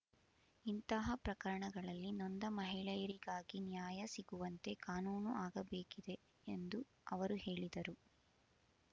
ಇಂತಹ ಪ್ರಕರಣಗಳಲ್ಲಿ ನೊಂದ ಮಹಿಳೆಯರಿಗಾಗಿ ನ್ಯಾಯ ಸಿಗುವಂತೆ ಕಾನೂನು ಆಗಬೇಕಿದೆ ಎಂದು ಅವರು ಹೇಳಿದರು